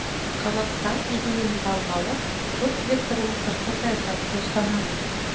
қазақстан егемендік алғалы көпвекторлы сыртқы саясатты ұстанады